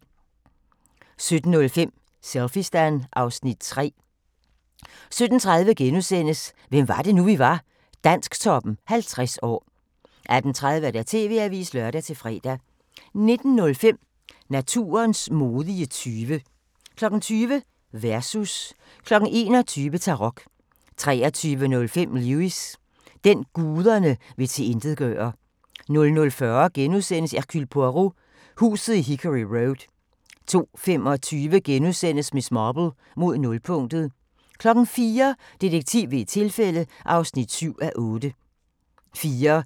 17:05: Selfiestan (Afs. 3) 17:30: Hvem var det nu, vi var? – Dansktoppen 50 år * 18:30: TV-avisen (lør-fre) 19:05: Naturens modige tyve 20:00: Versus 21:00: Tarok 23:05: Lewis: Den, guderne vil tilintetgøre 00:40: Hercule Poirot: Huset i Hickory Road * 02:25: Miss Marple: Mod nulpunktet * 04:00: Detektiv ved et tilfælde (7:8)